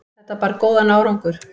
þetta bar góðan árangur